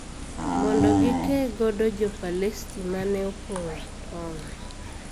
Mondo gikee godo Jo Palesti ma ne opong`o tong`